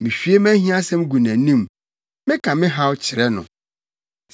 Mihwie mʼahiasɛm gu nʼanim; meka me haw kyerɛ no.